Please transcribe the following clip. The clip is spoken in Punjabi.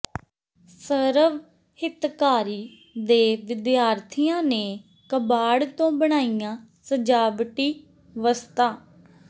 ਸਰਵ ਹਿਤਕਾਰੀ ਦੇ ਵਿਦਿਆਰਥੀਆਂ ਨੇ ਕਬਾੜ ਤੋਂ ਬਣਾਈਆਂ ਸਜਾਵਟੀ ਵਸਤਾਂ